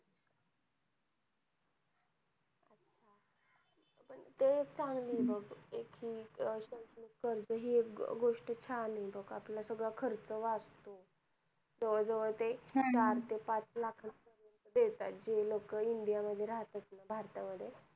ते एक चांगलीं आहे बघ एक कि शैक्षणिक कर्ज हि गोष्ट आपला सगळा खर्च वाचतो जवळ जवळ ते चार ते पाच लाख देत आहेत जे लोक India मध्ये राहतात ना भारतात मध्ये